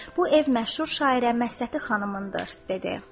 Bu ev məşhur şairə Məhsəti xanımındır," dedi.